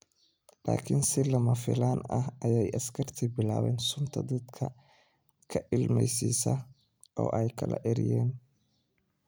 Laakin si lama filaan ah ayay askartii bilaabeen sunta dadka ka ilmeysiisa oo ay kala eryeen.